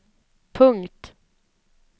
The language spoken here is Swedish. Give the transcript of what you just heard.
punkt